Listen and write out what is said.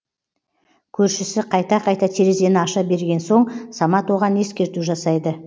көршісі қайта қайта терезені аша берген соң самат оған ескерту жасайды